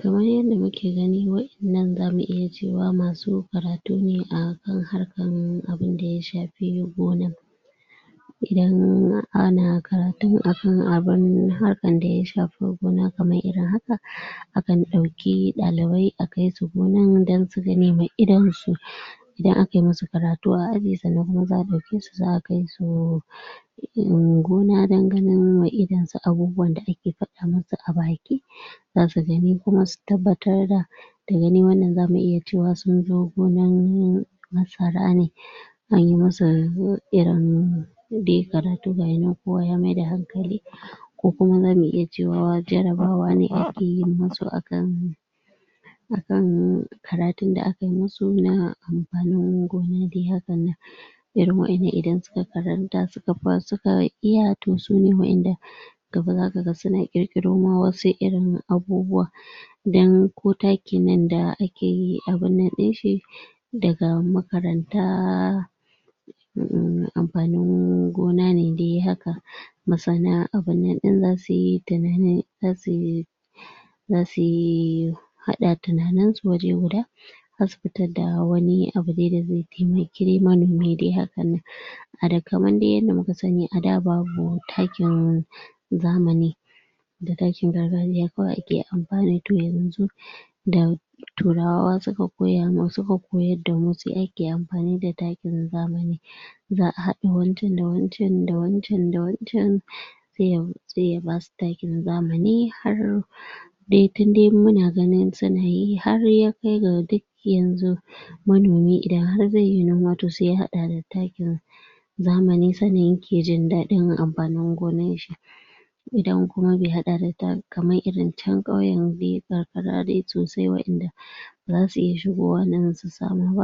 Kamar yanda muke gani wa'innan zamu iya cewa masu karatu ne a kan harkan abunda ya shafi gona, idan um ana karatun a kan abun harakan da ya shafi gona kamar irin haka, a kan ɗauki ɗalibai a kai su gonan don su ganema idon su um Idan a kai musu karatu a aji sannan kuma za'a ɗauke su za'a kai su um gona dan ganin wa idon su abubuwan da ake faɗa musu a baki, za su gani kuma su tabbatar da. Da gani wannan za mu iya cewa sun zo gonar masara ne, an yi masa um irin dai karatu gaya nan kowa ya maida hankali, ko kuma za mu iya cewa jarabawa ne ake yin masu a kan a kan karatun da akai musu na amfanin gona dai hakan nan. Irin wa'innan idan suka karanta, suka suka iya, toh, sune wa'inda gaba zaka ga suna ƙirƙiro ma wasu irin abubuwa. Dan ko takin nan da ake yi abun nan ɗin shi daga makaranta um amfanin gona ne dai haka, masana abun nan ɗin za su yi tunanin za su za su yi haɗa tunanin su waje guda, za su fitadda wani abu dai da zai taimaki dai manomi dai hakan nan. A da kaman dai yanda muka sani a daa babu takin zamani, da takin gargajiya kawai ake amfani, to, yanzu da turawa suka koya ma suka koyadda mu sai ake amfani da takin zamani. Za'a haɗa wancan da wancan da wancan da wancan sai ya sai ya basu takin zamani har dai tun dai muna ganin su na yi har ya kai ga dik yanzu manomi idan har zai yi noma to sai ya haɗa da takin zamani sannan yake jin daɗin amfanin gonar shi. Idan kuma bai haɗa da ta kamar irin can ƙauyen dai karkara dai sosai wa'inda za su iya shigowa nan su samu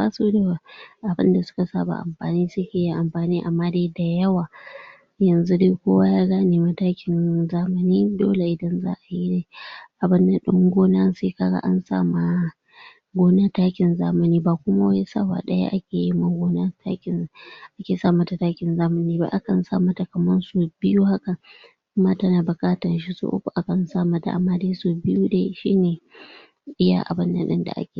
abunda suka saba amfani suke amfani, amma dai da yawa. Yanzu dai kowa ya gane ma takin zamani, dole idan za'a yi abun nan ɗin gona sai ka ga an sama gona takin zamani, ba kuma wai sawa ɗaya ake yima gona takin ake sa mata takin zamani ba, a kan sa mata kaman sau biyu haka, in ma ta na buƙatan shi so uku a kan sa mata, amma dai sau biyu dai shi ne iya abun nan ɗin da ake